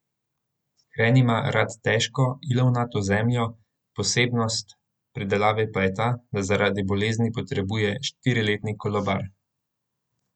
Hren ima rad težko, ilovnato zemljo, posebnost pridelave pa je ta, da zaradi bolezni potrebuje štiriletni kolobar.